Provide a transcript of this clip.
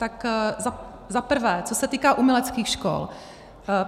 Za prvé, co se týká uměleckých škol.